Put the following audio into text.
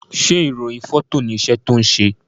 ṣe irohin Fọto ní iṣé tí ṣe?